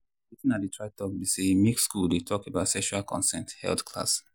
watin i dey try talk be say make school dey talk about sexual consent health class.